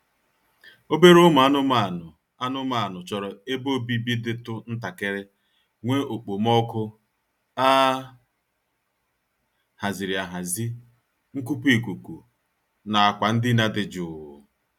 Obere ụmụ anụmaanụ anụmaanụ chọrọ ebe obibi dịtụ ntakịrị, nwee okpomọọkụ a haziri ahazi, nkupu ikuku na akwa ndina dị jụụ